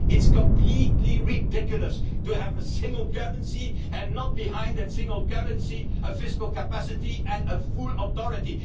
It is completely ridiculous to have a single currency and not behind that single currency a fiscal capacity and a full authority.